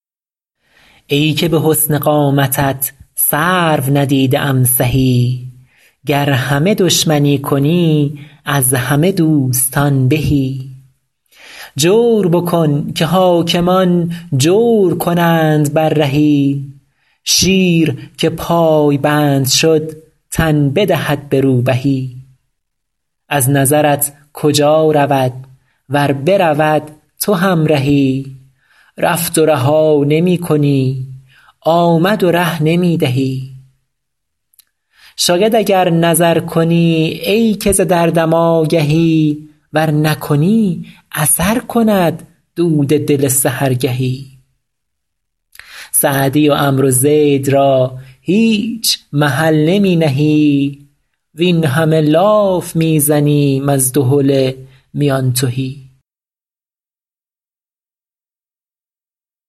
ای که به حسن قامتت سرو ندیده ام سهی گر همه دشمنی کنی از همه دوستان بهی جور بکن که حاکمان جور کنند بر رهی شیر که پایبند شد تن بدهد به روبهی از نظرت کجا رود ور برود تو همرهی رفت و رها نمی کنی آمد و ره نمی دهی شاید اگر نظر کنی ای که ز دردم آگهی ور نکنی اثر کند دود دل سحرگهی سعدی و عمرو زید را هیچ محل نمی نهی وین همه لاف می زنیم از دهل میان تهی